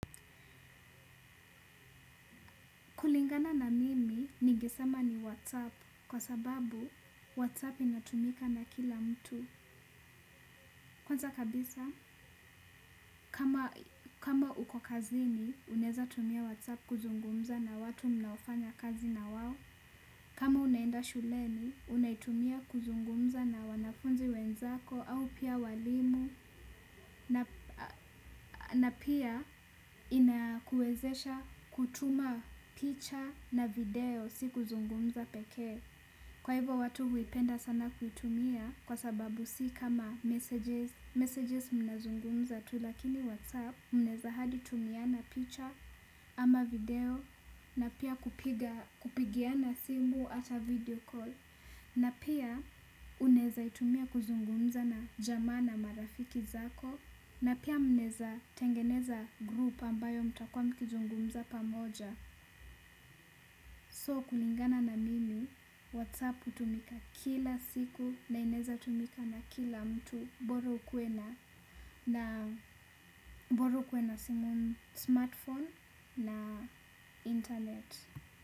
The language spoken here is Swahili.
Kulingana na mimi ningesema ni WhatsApp kwa sababu WhatsApp inatumika na kila mtu. Kwanza kabisa, kama uko kazini, unaeza tumia WhatsApp kuzungumza na watu mnaofanya kazi na wao. Kama unaenda shuleni, unaitumia kuzungumza na wanafunzi wenzako au pia walimu na pia inakuwezesha kutuma picha na video si kuzungumza pekee. Kwa hivyo watu huipenda sana kutumia kwa sababu si kama messages, messages mnazungumza tu lakini whatsapp mnaeza hadi tumiana picha ama video na pia kupigiana simu hata video call na pia unaeza itumia kuzungumza na jamaa na marafiki zako na pia mnaeza tengeneza group ambayo mtakuwa mkizungumza pamoja. So kulingana na mimi WhatsApp hutumika kila siku na inaeza tumika na kila mtu bora ukuwe na simu smartphone na internet.